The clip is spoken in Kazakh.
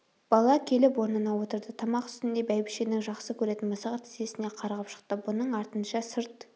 бала келіп орнына отырды тамақ үстінде бәйбішенің жақсы көретін мысығы тізесіне қарғып шықты бұның артынша сырт